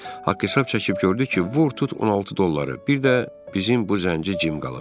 Haqq-hesab çəkib gördü ki, vur tut 16 dolları, bir də bizim bu zənci Cim qalıb.